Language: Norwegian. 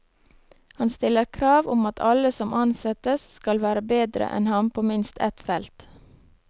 Han stiller krav om at alle som ansettes skal være bedre enn ham på minst ett felt.